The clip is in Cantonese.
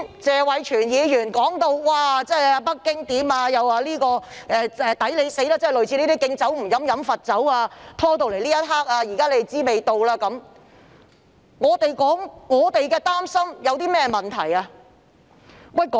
謝偉銓議員剛才提到北京政府的做法，又說"我們'抵死'"、"敬酒不喝喝罰酒"、"終於知道味道了"，我們表示擔心有何問題？